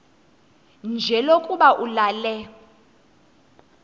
nje lokuba ulale